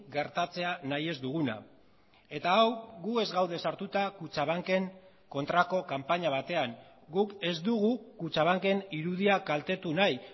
gertatzea nahi ez duguna eta hau gu ez gaude sartuta kutxabanken kontrako kanpaina batean guk ez dugu kutxabanken irudia kaltetu nahi